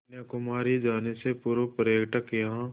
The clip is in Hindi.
कन्याकुमारी जाने से पूर्व पर्यटक यहाँ